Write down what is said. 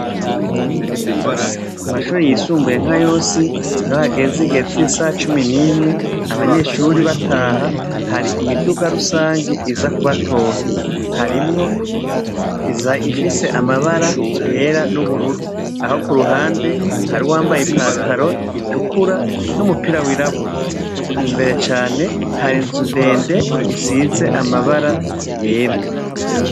Ku mashure yisumbuye nkayose iyo hageze igiheecisaha cumi n'mwe, abanyeshure bataha ,hari imiduga rusangi iza kubatora iza Ifise irangi yera n'ubururu naho kuruhande uwambaye ipantaro itukura numupira wirabura imbere cane hari inzu ndende isize amabara yera.